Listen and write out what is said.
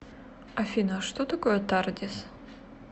афина что такое тардис